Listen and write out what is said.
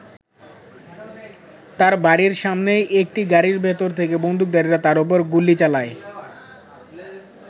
তার বাড়ির সামনেই একটি গাড়ির ভেতর থেকে বন্দুকধারীরা তার ওপর গুলি চালায়।